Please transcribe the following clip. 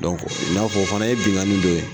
i n'a fɔ o fana ye binkanni dɔ ye